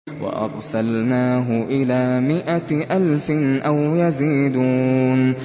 وَأَرْسَلْنَاهُ إِلَىٰ مِائَةِ أَلْفٍ أَوْ يَزِيدُونَ